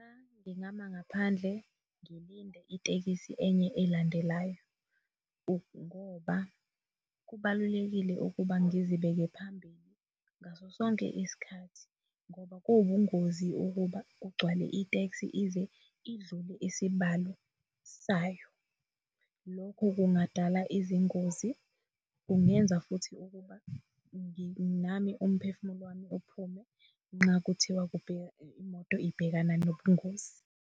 Ngingama ngaphandle ngilinde itekisi enye elandelayo ngoba kubalulekile ukuba ngizibeke phambili ngaso sonke isikhathi ngoba kuwubungozi ukuba kugcwale iteksi ize idlule isibalo sayo. Lokho kungadala izingozi, kungenza futhi ukuba nami umphefumulo wami uphume nxa kuthiwa imoto ibhekana nobungozi.